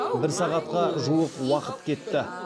бір сағатқа жуық уақыт кетті